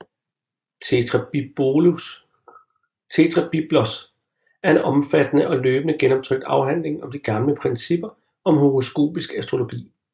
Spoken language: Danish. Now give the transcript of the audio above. Tetrabiblos er en omfattende og løbende genoptrykt afhandling om de gamle principper om horoskopisk astrologi